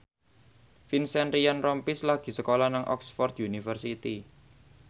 Vincent Ryan Rompies lagi sekolah nang Oxford university